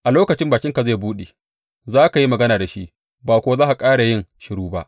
A lokacin bakinka zai buɗe, za ka yi magana da shi ba kuwa za ka ƙara yin shiru ba.